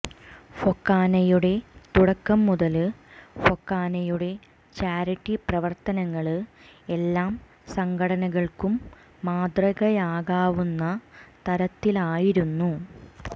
ഫൊക്കാനയുടെ തുടക്കം മുതല് ഫൊക്കാനയുടെ ചാരിറ്റി പ്രവര്ത്തനങ്ങള് എല്ലാ സംഘടനകള്ക്കും മാതൃകയാക്കാവുന്ന തരത്തിലായിരുന്നു